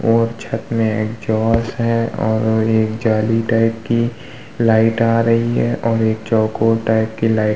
और छत पर एक टोर्च है और जाली टाइप की लाइट आ रही है और एक चौकोर टाइप की लाइट --